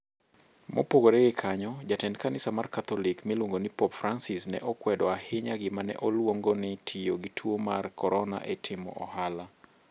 Mopogore gi kanyo, jatend kanisa mar Katholik miluongo ni Pope Francis, ne okwedo ahinya gima ne oluongo ni tiyo gi tuo mar Corona e timo ohala.